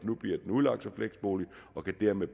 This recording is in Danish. nu bliver udlagt som fleksbolig og dermed